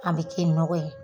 an be ke nɔgɔ ye